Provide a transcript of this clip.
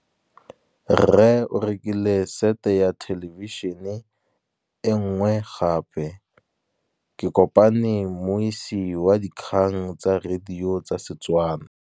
Rre o rekile sete ya thêlêbišênê e nngwe gape. Ke kopane mmuisi w dikgang tsa radio tsa Setswana.